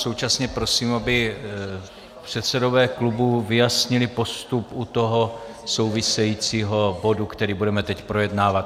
Současně prosím, aby předsedové klubů vyjasnili postup u toho souvisejícího bodu, který budeme teď projednávat.